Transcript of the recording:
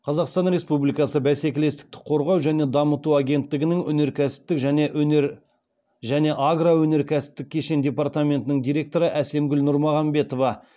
қазақстан республикасы бәсекелестікті қорғау және дамыту агенттігінің өнеркәсіптік және агроөнеркәсіптік кешен департаментінің директоры әсемгүл нұрмағамбетова